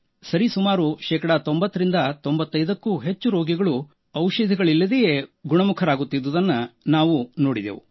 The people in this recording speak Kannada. ಸರಿಸುಮಾರು ಶೇಕಡ 9095ಕ್ಕೂ ಹೆಚ್ಚು ರೋಗಿಗಳು ಔಷಧಗಳಿಲ್ಲದೆಯೂ ಗುಣಮುಖರಾಗುತ್ತಿದ್ದುದನ್ನೂ ನಾವು ನೋಡಿದೆವು